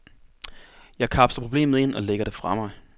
Jeg kapsler problemet ind og lægger det fra mig.